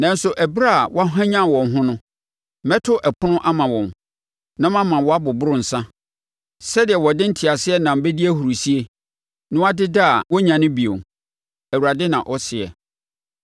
Nanso ɛberɛ a wɔahwanyane wɔn ho no mɛto ɛpono ama wɔn na mama wɔaboboro nsã sɛdeɛ wɔde nteateam bɛdi ahurisie, na wɔadeda a wɔrennyane bio,” Awurade na ɔseɛ.